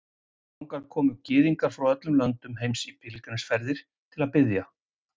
Þangað koma Gyðingar frá öllum löndum heims í pílagrímsferðir til að biðja.